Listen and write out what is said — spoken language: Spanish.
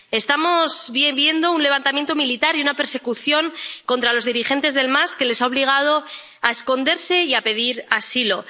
Estamos viendo un levantamiento militar y una persecución contra los dirigentes del MAS, que les ha obligado a esconderse y a pedir asilo.